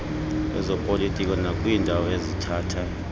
lwezopolitiko nakwiindawo ezithatha